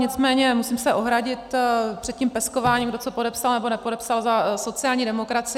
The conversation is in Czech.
Nicméně musím se ohradit před tím peskováním, kdo co podepsal nebo podepsal za sociální demokracii.